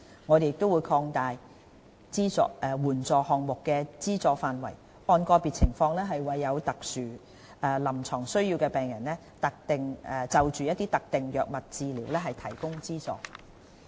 我們會擴大援助項目的資助範圍，按個別情況為有特殊臨床需要的病人就特定藥物治療提供資助。